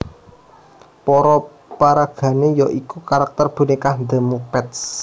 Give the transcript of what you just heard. Para paragané ya iku karakter bonékah The Muppets